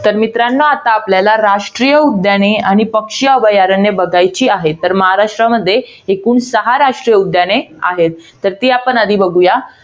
तर मित्रांनो, आता आपल्याला राष्ट्रीय उद्याने आणि पक्षी अभयारण्ये बघायची आहेत. तर महाराष्ट्रामध्ये एकूण सहा राष्ट्रीय उद्याने आहेत. तर ती आपण आधी बघूया.